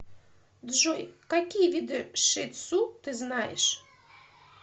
джой какие виды ши тсу ты знаешь